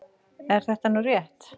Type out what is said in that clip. Er þetta nú rétt?